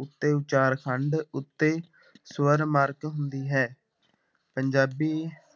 ਉੱਤੇ ਉਚਾਰਖੰਡ ਉੱਤੇ ਸਵਰ ਮਰਕ ਹੁੰਦੀ ਹੈ, ਪੰਜਾਬੀ